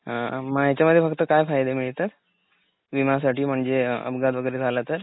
अ अ म याच्या मध्ये फक्त काय फायदा मिळत , विमासाठी म्हणजे अपघात वगैरे झाला तर?